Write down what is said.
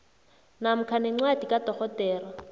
namkha nencwadi kadorhodera